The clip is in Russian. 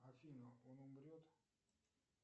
афина он умрет